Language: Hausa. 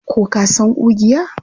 Ko ka san ƙugiya?